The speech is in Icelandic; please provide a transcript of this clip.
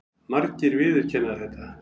Margir viðurkenna þetta.